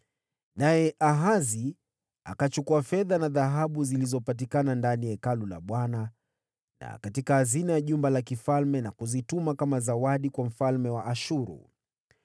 Naye Ahazi akachukua fedha na dhahabu zilizopatikana ndani ya Hekalu la Bwana na katika hazina ya jumba la mfalme, na kuzituma kama zawadi kwa mfalme wa Ashuru.